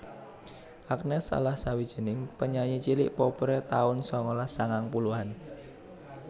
Agnes salah sawijing penyanyi cilik populèr taun sangalas sangang puluhan